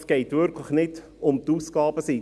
Es geht wirklich nicht um die Ausgabenseite.